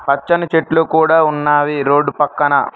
పచ్చని చెట్లు కూడా ఉన్నాయి రోడ్డు పక్కన.